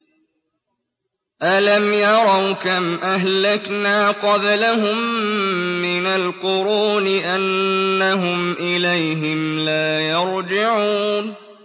أَلَمْ يَرَوْا كَمْ أَهْلَكْنَا قَبْلَهُم مِّنَ الْقُرُونِ أَنَّهُمْ إِلَيْهِمْ لَا يَرْجِعُونَ